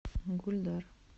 гульдар